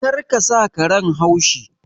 Kar ka sa karen haushi!